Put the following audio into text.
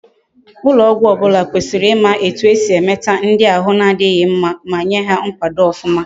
Ulo ogwu obula kwesiri ima etu esi emeta ndi ahi na difhi mma, ma Nye ha nkwado ofuma